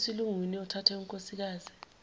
esilungwini othathe unkosikazi